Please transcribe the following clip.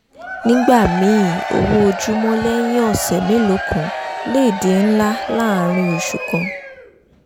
nígbà míì owó ojúmọ́ lẹ́yìn ọ̀ṣẹ̀ mélòó kan lè di ńlá láàárín oṣù kan